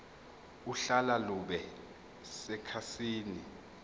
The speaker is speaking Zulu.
uhlaka lube sekhasini